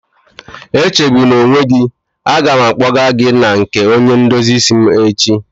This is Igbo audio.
Echegbuna onwe gị, a ga m akpọgaa gị na nke onye ndozi isi m echi